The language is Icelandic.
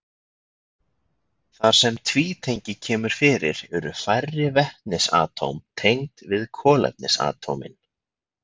Þar sem tvítengi kemur fyrir eru færri vetnisatóm tengd við kolefnisatómin.